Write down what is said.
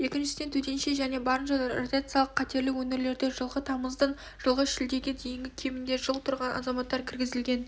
екіншісіне төтенше және барынша радиациялық қатерлі өңірлерде жылғы тамыздан жылғы шілдеге дейін кемінде жыл тұрған азаматтар кіргізілген